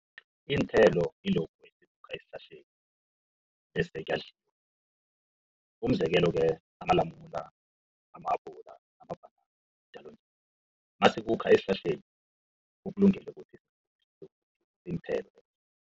Iinthelo yilokhu esihlahleni bese kuyadliwa. Umzekelo-ke amalamula, amahabhula namabhanana masikhuka esihlahleni ukulungele ukuthi